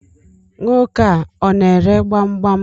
Nwoke a, ọ na ere gbamgbam?